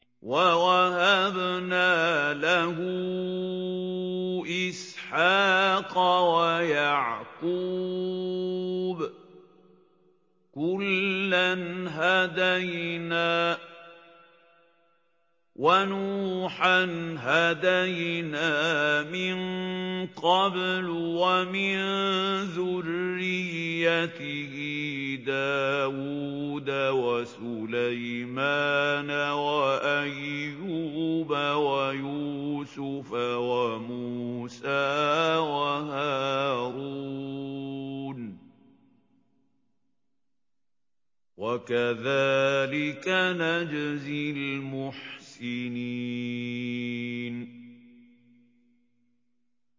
وَوَهَبْنَا لَهُ إِسْحَاقَ وَيَعْقُوبَ ۚ كُلًّا هَدَيْنَا ۚ وَنُوحًا هَدَيْنَا مِن قَبْلُ ۖ وَمِن ذُرِّيَّتِهِ دَاوُودَ وَسُلَيْمَانَ وَأَيُّوبَ وَيُوسُفَ وَمُوسَىٰ وَهَارُونَ ۚ وَكَذَٰلِكَ نَجْزِي الْمُحْسِنِينَ